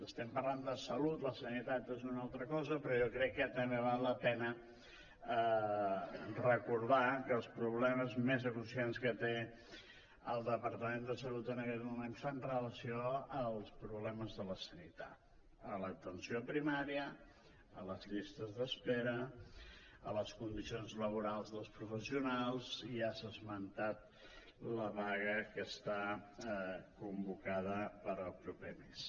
estem parlant de salut la sanitat és una altra cosa però jo crec que també val la pena recordar que els problemes més apressants que té el departament de salut en aquest moment fan relació als problemes de la sanitat a l’atenció primària a les llistes d’espera a les condicions laborals dels professionals ja s’ha esmentat la vaga que està convocada per al proper mes